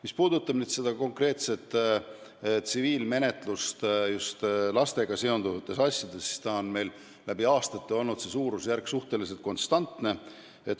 Mis puudutab konkreetset tsiviilmenetlust lastega seonduvates asjades, siis läbi aastate on nende asjade suurusjärk olnud suhteliselt konstantne.